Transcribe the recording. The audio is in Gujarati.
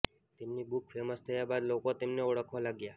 તેમની બુક ફેમસ થયા બાદ લોકો તેમને ઓળખવા લાગ્યા